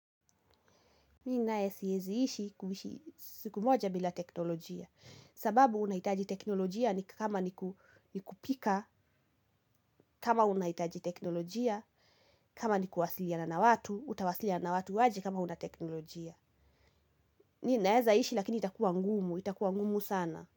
Mimi naye siwezi ishi kuishi siku moja bila teknolojia sababu unahitaji teknolojia ni kama ni kupika. Kama unahitaji teknolojia kama ni kuwasilia na na watu utawasiliana watu aje kama huna teknolojia. Mimi naweza ishi lakini itakuwa ngumu, itakuwa ngumu sana.